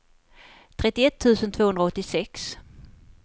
trettioett tusen tvåhundraåttiosex